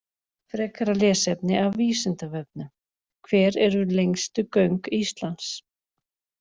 Frekara lesefni af Vísindavefnum: Hver eru lengstu göng Íslands?